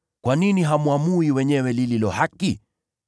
“Kwa nini hamwamui wenyewe lililo haki?